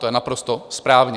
To je naprosto správně.